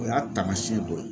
O y'a taamasiyɛn dɔ ye.